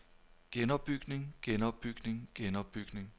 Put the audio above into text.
genopbygning genopbygning genopbygning